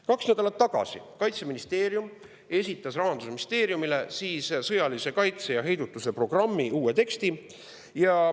Kaks nädalat tagasi esitas Kaitseministeerium Rahandusministeeriumile sõjalise kaitse ja heidutuse programmi uue teksti.